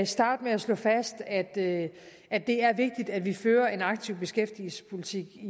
starte med at slå fast at det er det er vigtigt at vi fører en aktiv beskæftigelsespolitik